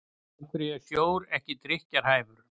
af hverju er sjór ekki drykkjarhæfur